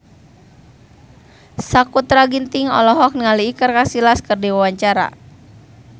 Sakutra Ginting olohok ningali Iker Casillas keur diwawancara